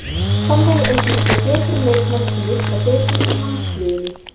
Þannig eignumst við betri leikmenn sem virka betur í landsliðinu.